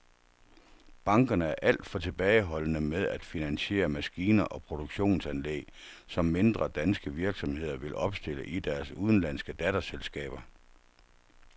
Bankerne er alt for tilbageholdende med at finansiere maskiner og produktionsanlæg, som mindre danske virksomheder vil opstille i deres udenlandske datterselskaber.